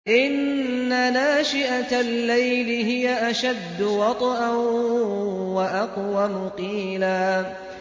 إِنَّ نَاشِئَةَ اللَّيْلِ هِيَ أَشَدُّ وَطْئًا وَأَقْوَمُ قِيلًا